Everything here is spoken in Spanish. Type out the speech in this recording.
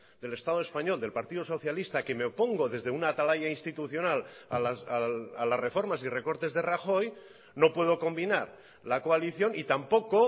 del estado español del partido socialista que me opongo desde una atalaya institucional a las reformas y recortes de rajoy no puedo combinar la coalición y tampoco